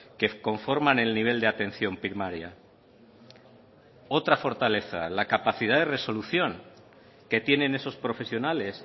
que conforman el nivel de atención primaria otra fortaleza la capacidad de resolución que tienen esos profesionales